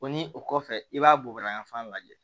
O ni o kɔfɛ i b'a bugubafan lajɛ